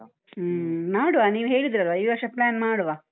ಹ್ಮ. ನೋಡುವ. ನೀವು ಹೇಳಿದ್ರಲ್ಲ? ಈ ವರ್ಷ plan ಮಾಡುವ.